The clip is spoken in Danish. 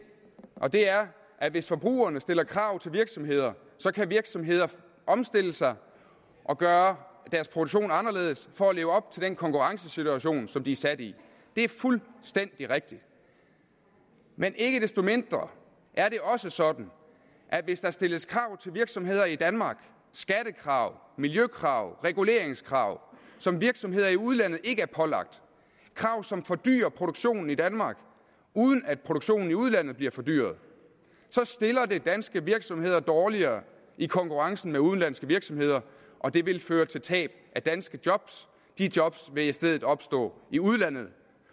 og det er at hvis forbrugerne stiller krav til virksomheder kan virksomheder omstille sig og gøre deres produktion anderledes for at leve op til den konkurrencesituation som de er sat i det er fuldstændig rigtigt men ikke desto mindre er det også sådan at hvis der stilles krav til virksomheder i danmark skattekrav miljøkrav reguleringskrav som virksomheder i udlandet ikke er pålagt krav som fordyrer produktionen i danmark uden at produktionen i udlandet bliver fordyret så stiller det danske virksomheder dårligere i konkurrencen med udenlandske virksomheder og det vil føre til tab af danske job de job vil i stedet opstå i udlandet